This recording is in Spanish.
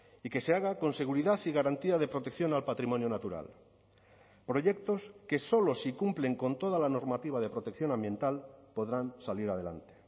y que se haga con seguridad y garantía de protección al patrimonio natural proyectos que solo si cumplen con toda la normativa de protección ambiental podrán salir adelante